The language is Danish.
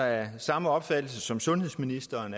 af samme opfattelse som sundhedsministeren